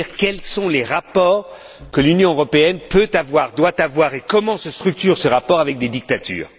C'est à dire, quels sont les rapports que l'Union européenne peut avoir, doit avoir, et comment se structurent ces rapports avec des dictatures.